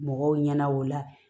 Mɔgɔw ɲɛna o la